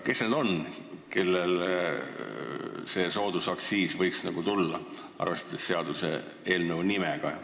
Kes need on, kes seda soodusaktsiisi võiksid saada, arvestades seaduseelnõu pealkirja?